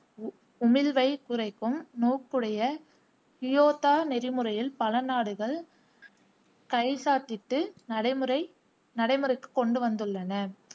உமிழ்வைக் குறைக்கும் நோக்குடைய கியோத்தா நெறிமுறையில் பல நாடுகள் கைச்சாத்திட்டு நடைமுறை நடைமுறைக்கு கொண்டுவந்துள்ளன.